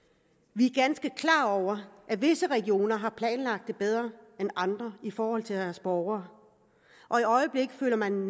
vi er ganske klar over at visse regioner har planlagt det bedre end andre i forhold til deres borgere og i øjeblikket føler man